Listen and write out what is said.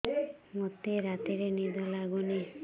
ମୋତେ ରାତିରେ ନିଦ ଲାଗୁନି